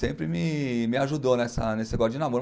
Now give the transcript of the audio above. Sempre me me ajudou nessa nesse negócio de namoro.